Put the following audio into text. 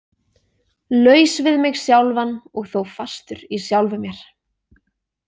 Laus við mig sjálfan og þó fastur í sjálfum mér.